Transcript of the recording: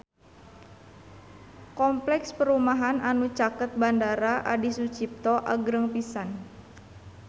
Kompleks perumahan anu caket Bandara Adi Sucipto agreng pisan